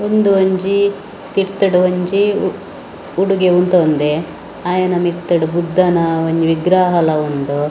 ‌ ಉಂದು ಒಂಜಿ ತಿರ್‌ತ್‌ಡ್ ಒಂಜಿ‌ ಉಡುಗೆ ಉಂತವುಂದೆ ಅಯೆನ ಮಿತ್ತ್‌ಡ್‌ ಬುದ್ದನ ಒಂಜಿ ವಿಗ್ರಹಲ ಉಂಡು ‌.